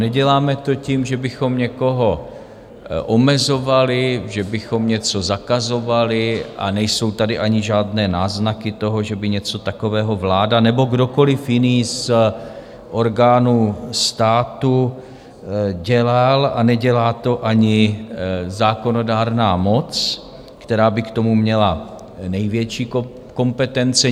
Neděláme to tím, že bychom někoho omezovali, že bychom něco zakazovali, a nejsou tady ani žádné náznaky toho, že by něco takového vláda nebo kdokoliv jiný z orgánů státu dělal, a nedělá to ani zákonodárná moc, která by k tomu měla největší kompetence.